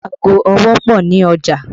Ago ọwọ́ pọ ní ọjà